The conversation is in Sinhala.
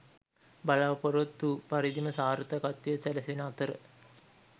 බලාපොරොත්තු පරිදිම සාර්ථකත්වය සැලසෙන අතර